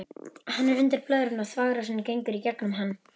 Hann er undir blöðrunni og þvagrásin gengur í gegnum hann.